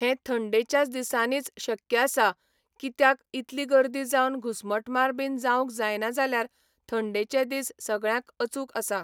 हे थंडेच्याच दिसांनीच शक्य आसा कित्याक इतली गर्दी जावन घुस्मटमार बीन जावंक जायना जाल्यार थंडेचे दीस सगळ्यांक अचूक आसा